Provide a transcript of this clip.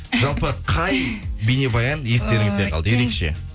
жалпы қай бейнебаян естеріңізде калды ерекше